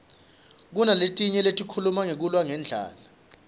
kunaletinye letikhuluma ngekulwa ngendlala